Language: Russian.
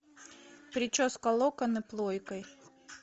прическа локоны плойкой